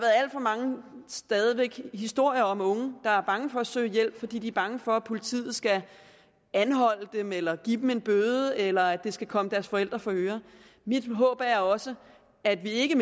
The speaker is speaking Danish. stadig væk mange historier om unge der er bange for at søge hjælp fordi de er bange for at politiet skal anholde dem eller give dem en bøde eller at det skal komme deres forældre for øre mit håb er også at vi ikke